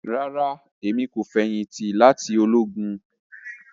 Rara, Emi ko feyinti lati ologun